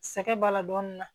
Sɛgɛn b'a la dɔɔnin na